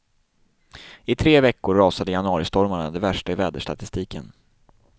I tre veckor rasade januaristormarna, de värsta i väderstatistiken.